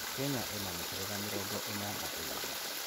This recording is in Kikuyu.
Kenya ĩ na mĩhĩrĩga mĩrongo ĩna na ĩĩrĩ